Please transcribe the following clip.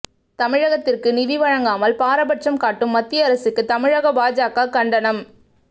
தமிழகத்திற்கு நிதி வழங்காமல் பாரபட்சம் காட்டும் மத்திய அரசுக்கு தமிழக பாஜக கண்டனம்